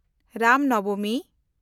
Ram ᱱᱚᱵᱚᱢᱤ